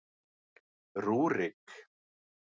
Rúrik